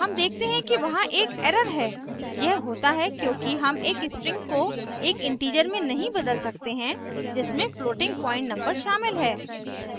हम देखते हैं कि वहां एक error है यह होता है क्योंकि हम एक string को एक integer में नहीं बदल सकते हैं जिसमें floating point number शामिल है